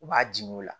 U b'a di o la